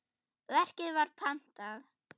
Verkið var pantað.